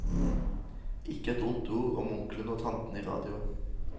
Ikke et ondt ord om onklene og tantene i radio.